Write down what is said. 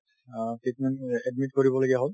অ, treatment চলি আছে admit কৰিব লগীয়া হল